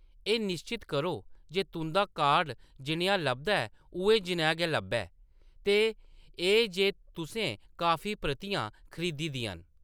एह्‌‌ निश्चत करो जे तुंʼदा कार्ड जनेहा लभदा ऐ उʼऐ जनेहा गै लब्भै, ते एह्‌‌ जे तुसें काफी प्रतियां खरीदी दियां न।